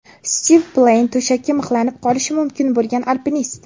Stiv Pleyn, to‘shakka mixlanib qolishi mumkin bo‘lgan alpinist.